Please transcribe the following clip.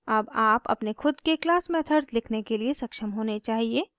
अब आप अपने खुद के class methods लिखने के लिए सक्षम होने चाहिए